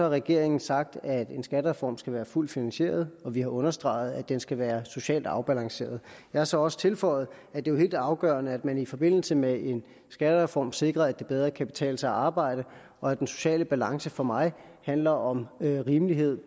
regeringen sagt at en skattereform skal være fuldt finansieret og vi har understreget at den skal være socialt afbalanceret jeg har så også tilføjet at det er helt afgørende at man i forbindelse med en skattereform sikrer at det bedre kan betale sig at arbejde og at den sociale balance for mig handler om rimelighed